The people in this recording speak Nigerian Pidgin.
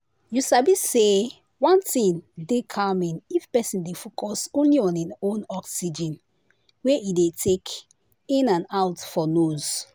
you sabi say one thing dey calming if person dey focus only on hin own oxygen wey e dey take in and out for nose.